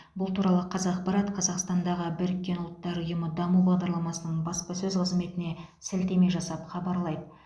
бұл туралы қазақпарат қазақстандағы біріккен ұлттар ұйымының даму бағдарламасына баспасөз қызметіне сілтеме жасап хабарлайды